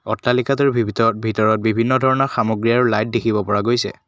অট্টালিকাটোৰ ভিতৰত বিভিন্ন ধৰণৰ সামগ্ৰী আৰু লাইট দেখিব পৰা গৈছে।